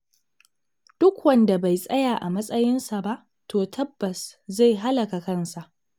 Duk wanda bai tsaya a matsayinsa ba, to tabbas zai halaka kansa.